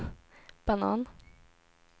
banan